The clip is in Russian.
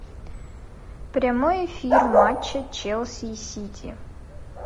прямой эфир матча челси и сити